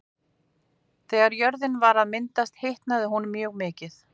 Þegar jörðin var að myndast hitnaði hún mjög mikið.